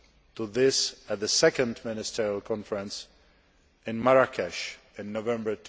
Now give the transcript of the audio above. to this at the second Ministerial conference in Marrakesh in November